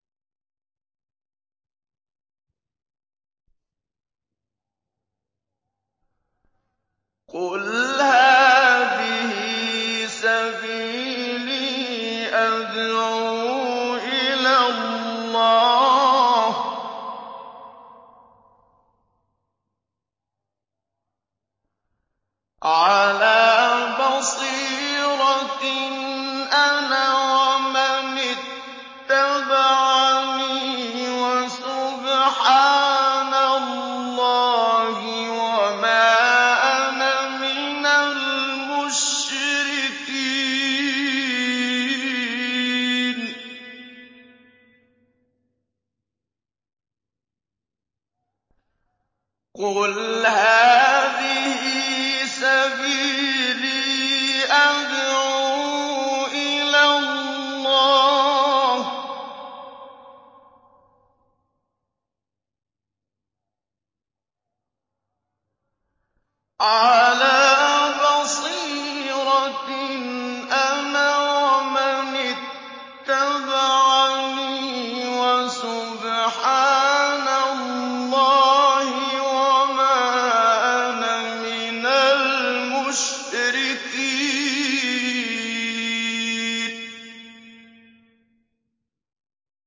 قُلْ هَٰذِهِ سَبِيلِي أَدْعُو إِلَى اللَّهِ ۚ عَلَىٰ بَصِيرَةٍ أَنَا وَمَنِ اتَّبَعَنِي ۖ وَسُبْحَانَ اللَّهِ وَمَا أَنَا مِنَ الْمُشْرِكِينَ